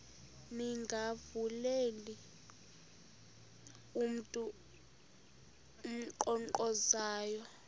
ningavuleli mntu unkqonkqozayo